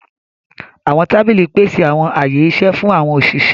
Àwọn tábìlì pèsè àwọn ààyè iṣẹ fún àwọn òṣìṣẹ́.